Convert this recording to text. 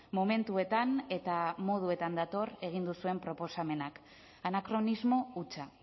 momentuetan eta moduetan dator egin duzuen proposamenak anakronismo hutsa